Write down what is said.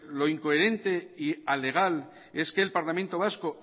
lo incoherente y alegal es que el parlamento vasco